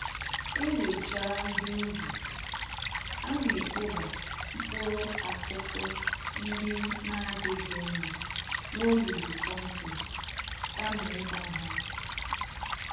Ewechaa ihe ubi, anekpoba mkpụrụ-akụkụ ndị n'adịghị mma n'olulu kompost, kama ịgba ha ọkụ